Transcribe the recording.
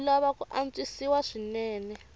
wu lava ku antswisiwa swinene